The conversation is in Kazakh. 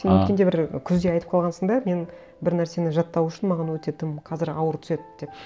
а сен өткенде бір күзде айтып қалғансың да мен бір нәрсені жаттау үшін маған өте тым қазір ауыр түседі деп